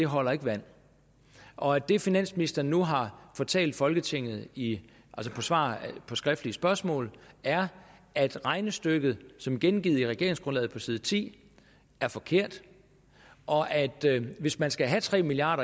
holder vand og at det finansministeren nu har fortalt folketinget i svar på skriftlige spørgsmål er at regnestykket som gengivet i regeringsgrundlaget på side ti er forkert og at hvis man skal have tre milliard